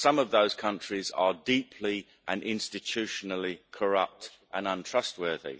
Some of those countries are deeply and institutionally corrupt and untrustworthy.